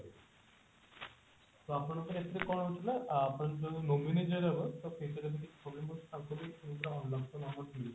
ତ ଆପଣଙ୍କର ଏଥିରେ କଣ ହଉଛି ନା ଆ ଯୋଉ nominee ଯିଏ ରହିବା ତାକୁ future ରେ